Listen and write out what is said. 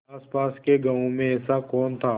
आसपास के गाँवों में ऐसा कौन था